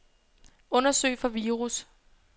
Undersøg for virus.